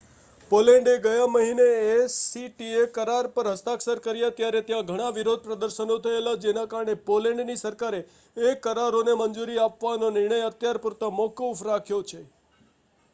Poland એ ગયા મહિને એસીટીએ કરાર પર હસ્તાક્ષર કર્યા ત્યારે ત્યાં ઘણા વિરોધ પ્રદર્શનો થયેલા જેના કારણે પોલેન્ડની સરકારે એ કરારોને મંજૂરી આપવાનો નિર્ણય અત્યાર પૂરતો મોકૂફ રાખ્યો છે